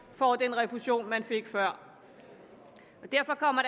får den refusion man fik før derfor kommer